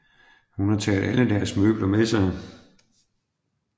Hun har taget alle deres møbler med sig